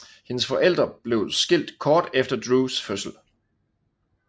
Hendes forældre blev skilt kort efter Drews fødsel